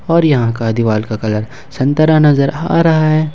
और यहां का दीवाल का कलर संतरा नजर आ रहा है।